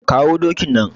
Kawo dokin nan.